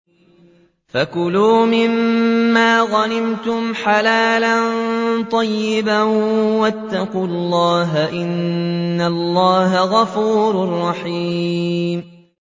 فَكُلُوا مِمَّا غَنِمْتُمْ حَلَالًا طَيِّبًا ۚ وَاتَّقُوا اللَّهَ ۚ إِنَّ اللَّهَ غَفُورٌ رَّحِيمٌ